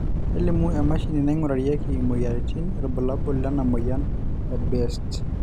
kelimu emashini naingurarieki imoyiaritin irbulabol lena moyian e BEST